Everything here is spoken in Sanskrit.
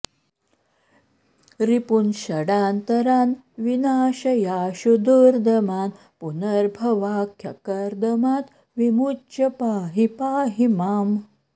रिपून् षडान्तरान् विनाशयाशु दुर्दमान् पुनर्भवाख्यकर्दमात् विमुच्य पाहि पाहि माम्